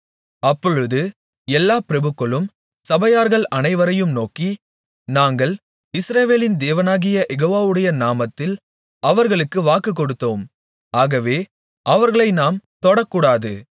அப்பொழுது எல்லா பிரபுக்களும் சபையார்கள் அனைவரையும் நோக்கி நாங்கள் இஸ்ரவேலின் தேவனாகிய யெகோவாவுடைய நாமத்தில் அவர்களுக்கு வாக்குக்கொடுத்தோம் ஆகவே அவர்களை நாம் தொடக்கூடாது